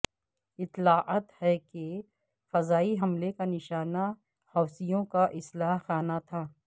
اطلاعات ہیں کہ فضائی حملے کا نشانہ حوثیوں کا اسلحہ خانہ تھا